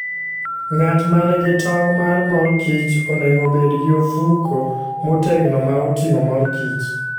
Ng'at ma nigi tong' mar mor kich onego obed gi ofuko motegno ma oting'o mor kich.